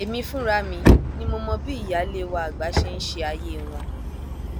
èmi fúnra mi ni mo mọ bí ìyáálé wa àgbà ṣe ń ṣe ayé wọn